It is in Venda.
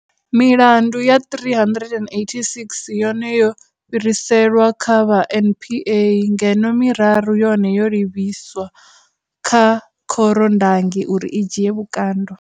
Milandu ya 386 yone yo fhiriselwa kha vha NPA, ngeno miraru yone yo livhiswa kha khorondangi uri i dzhie vhukando.